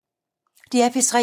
DR P3